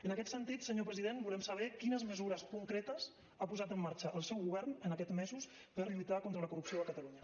en aquest sentit senyor president volem saber quines mesures concretes ha posat en marxa el seu govern en aquests mesos per lluitar contra la corrupció a catalunya